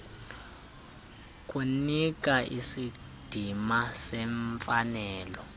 kunika isidima semfanelo